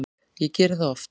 Ég geri það oft